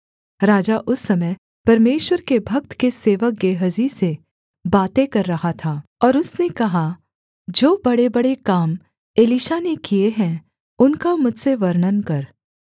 राजा उस समय परमेश्वर के भक्त के सेवक गेहजी से बातें कर रहा था और उसने कहा जो बड़ेबड़े काम एलीशा ने किए हैं उनका मुझसे वर्णन कर